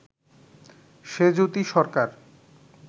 Sejuti Sarkar